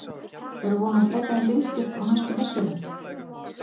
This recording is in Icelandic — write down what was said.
Er von á frekari liðsstyrk á næstu misserum?